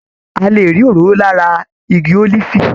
A lè rí òróró lára igi ólífì.